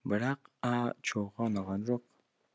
бірақ а чоуға ұнаған жоқ